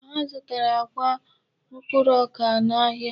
Ha zụtara akwa mkpụrụ ọka n'ahịa.